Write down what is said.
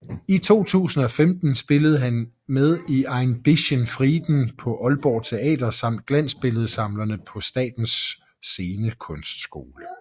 I 2015 spillede han med i Ein Bischen Frieden på Aalborg Teater samt Glansbilledsamlerne på Statens Scenekunstskole